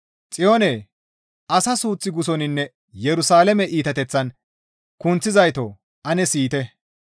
Xiyoone, asa suuth gussoninne Yerusalaame iitateththan kunththizayto! Ane siyite.